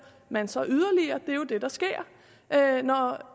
man sig yderligere det er jo det der sker